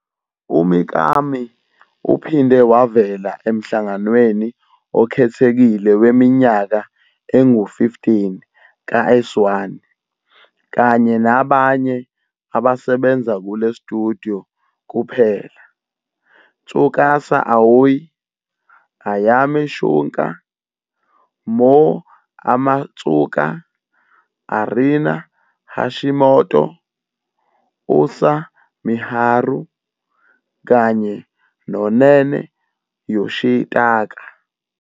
UMikami uphinde wavela emhlanganweni okhethekile weminyaka engu-15 ka-S1, kanye nabanye abasebenza kule studio kuphela - Tsukasa Aoi, Ayami Shunka, Moe Amatsuka, Arina Hashimoto, Usa Miharu, kanye noNene Yoshitaka.